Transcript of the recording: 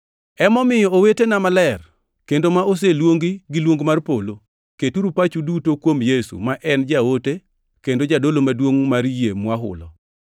Emomiyo, owetena maler kendo ma oseluongi gi luong mar polo, keturu pachu duto kuom Yesu, ma en jaote kendo jadolo Maduongʼ mar yie mwahulo.